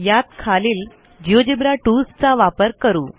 यात खालील जिओजेब्रा टूल्सचा वापर करू